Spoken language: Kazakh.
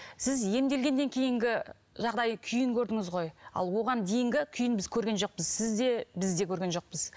сіз емделгеннен кейінгі жағдай күйін көрдіңіз ғой ал оған дейінгі күйін біз көрген жоқпыз сіз де біз де көрген жоқпыз